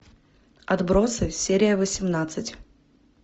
отбросы серия восемнадцать